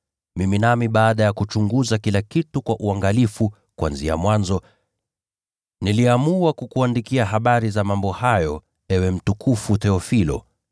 mimi nami baada ya kuchunguza kila kitu kwa uangalifu kuanzia mwanzo, niliamua kukuandikia habari za mambo hayo, ewe mtukufu Theofilo,